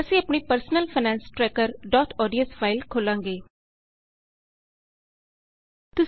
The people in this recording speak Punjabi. ਅਸੀਂ ਆਪਣੀ personal finance tracker dot ODS personal finance tracker ODS file ਖੋਲ੍ਹਾਂਗੇ